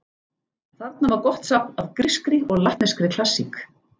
Þarna var gott safn af grískri og latneskri klassík.